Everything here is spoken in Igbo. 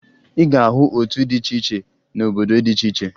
Ị ga-ahụ otu dị iche iche n'obodo dị iche iche